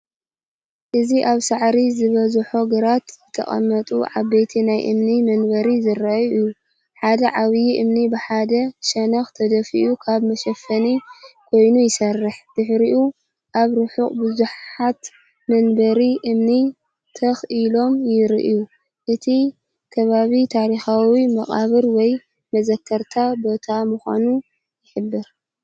እዚ ኣብ ሳዕሪ ዝበዝሖ ግራት ዝተቐመጡ ዓበይቲ ናይ እምኒ መንበር ዘርኢ እዩ። ሓደ ዓቢ እምኒ ብሓደ ሸነኽ ተደፊኡ ከም መሸፈኒ ኮይኑይሰርሕ፣ ድሕሪኡ ኣብ ርሑቕ ብዙሓት መንበር እምኒ ትኽ ኢሎምይረኣዩ። እቲ ከባቢ ታሪኻዊ መቓብር ወይ መዘከርታ ቦታምዃኑ ይሕብር።